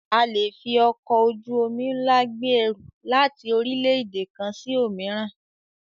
A le fi ọkọ̀ ojú-omi ńlá gbé ẹrù láti orílẹ̀-èdè kan sí òmíràn.